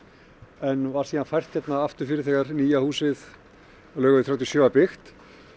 en var síðan fært aftur fyrir þegar nýja húsið Laugavegur þrjátíu og sjö var byggt